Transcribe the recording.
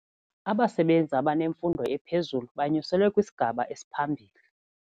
Abasebenzi abanemfundo ephezulu banyuselwe kwisigaba esiphambili.